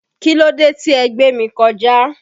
Kílódé tí ẹ gbémi kọjà?